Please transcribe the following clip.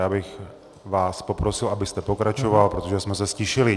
Já bych vás poprosil, abyste pokračoval, protože jsme se ztišili.